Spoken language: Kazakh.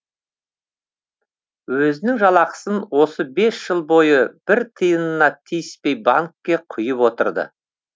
өзінің жалақысын осы бес жыл бойы бір тиынына тиіспей банкке құйып отырды